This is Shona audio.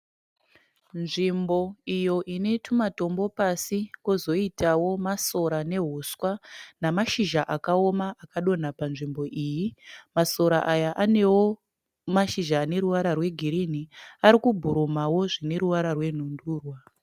Nzvimbo iyo ine tumatombo pasi kozoitawo masora nehuswa namazhizha akaoma akadonha panzvimbo iyi. Masora aya anewo mazhizha ane ruvara rwegirinhi ari kubhurumawo zvine ruvara rwenhundurwa.